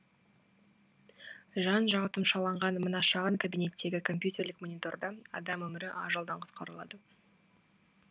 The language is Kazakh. жан жағы тұмшаланған мына шағын кабинеттегі компьютерлік мониторда адам өмірі ажалдан құтқарылады